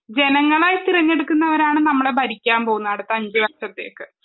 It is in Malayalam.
ജനങ്ങളായി തിരഞ്ഞെടുക്കുന്നവരാണ് നമ്മളെ ഭരിക്കാൻ പോകുന്നത് അടുത്ത അഞ്ചുവർഷത്തേക്ക്